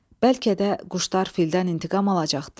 Bəlkə də quşlar fildən intiqam alacaqdılar.